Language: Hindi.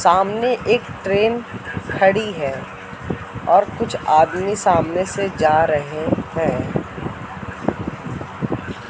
सामने एक ट्रेन खड़ी है और कुछ आदमी सामने से जा रहे है।